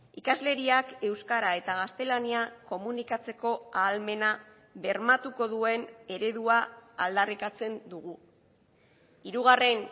ikasleriak euskara eta gaztelania komunikatzeko ahalmena bermatuko duen eredua aldarrikatzen dugu hirugarren